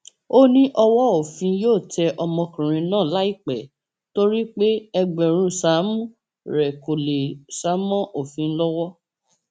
ó ní ó lòdì sófin ijó náà pé kí obìnrin tó bá fẹẹ ṣègbéyàwó lóyún kó tóó ṣe é